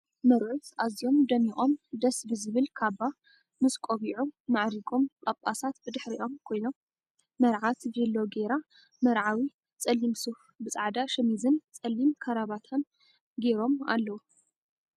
መርዑት ኣዝዮም ደሚቆም ደስ ብዝብል ካባ ምስ ቆቢዑ ማዕሪጎም ጽጻሳት ብድሕሪኦም ኮይኖም መርዓት ቪሎ ገይራ መርዓዎ ፀሊም ሱፍ ብፃዕዳ ሸሚዝን ፀሊም ከራባትን ገይሮም ኣለዉ።